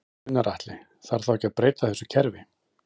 Gunnar Atli: Þarf þá ekki að breyta þessu kerfi?